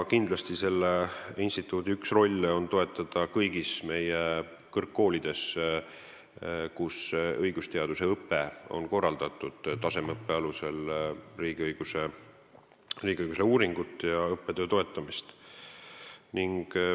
Kindlasti on selle instituudi üks rolle toetada kõigis meie kõrgkoolides, kus õigusteaduse õpe on korraldatud tasemeõppe alusel, riigiõiguse uurimusi ja õppetööd.